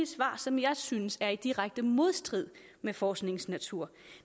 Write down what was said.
svar som jeg synes er i direkte modstrid med forskningens natur